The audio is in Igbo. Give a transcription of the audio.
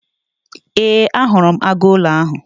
Ee, ahụrụ m agụụlọ ahụ.